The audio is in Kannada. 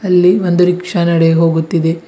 ಅಲ್ಲಿ ಒಂದು ರಿಕ್ಷಾ ನಡೆ ಹೋಗುತ್ತಿದೆ.